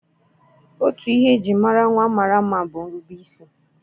Otu ihe e ji mara nwa mara mma bụ nrubeisi.